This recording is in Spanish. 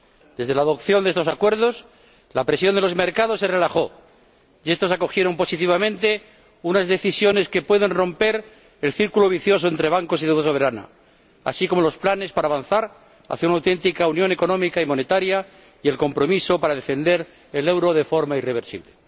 Desde la adopción de estos acuerdos se relajó la presión de los mercados, que acogieron positivamente unas decisiones que pueden romper el círculo vicioso entre bancos y deuda soberana, así como los planes para avanzar hacia una auténtica unión económica y monetaria y el compromiso para defender el euro de forma irreversible.